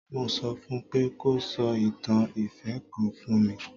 Mo sọ fún un pé kó sọ ìtàn ìfẹ́ kan fún mi.